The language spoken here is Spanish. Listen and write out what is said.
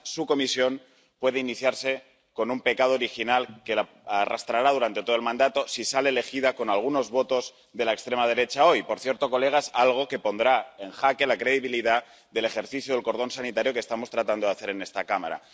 Además, su Comisión puede iniciarse con un pecado original que arrastrará durante todo el mandato, si sale elegida con algunos votos de la extrema derecha hoy —por cierto, colegas, algo que pondrá en jaque la credibilidad del ejercicio del cordón sanitario que estamos tratando de hacer en esta cámara—.